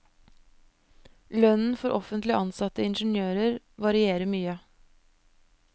Lønnen for offentlig ansatte ingeniører varierer mye.